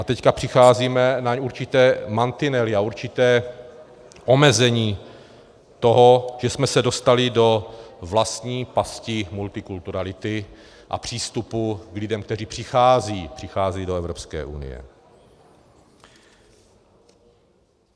A teď přicházíme na určité mantinely a určitá omezení toho, že jsme se dostali do vlastní pasti multikulturality a přístupu k lidem, kteří přicházejí do Evropské unie.